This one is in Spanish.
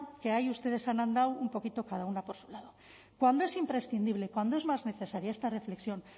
que ahí ustedes han andado un poquito cada una por su lado cuando es imprescindible cuando es más necesaria esta reflexión